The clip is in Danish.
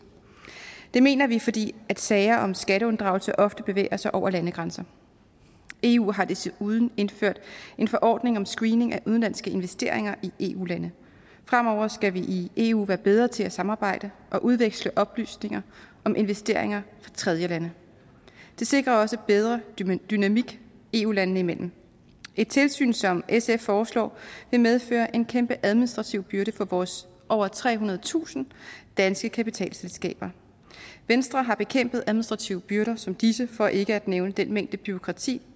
mener vi fordi sager om skatteunddragelse ofte bevæger sig over landegrænser eu har desuden indført en forordning om screening af udenlandske investeringer i eu lande fremover skal vi i eu være bedre til at samarbejde og udveksle oplysninger om investeringer fra tredjelande det sikrer også en bedre dynamik eu landene imellem et tilsyn som sf foreslår vil medføre en kæmpe administrativ byrde for vores over trehundredetusind danske kapitalselskaber venstre har bekæmpet administrative byrder som disse for ikke at nævne den mængde bureaukrati